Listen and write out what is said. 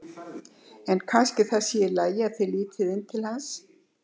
En kannski það sé í lagi að þið lítið inn til hans.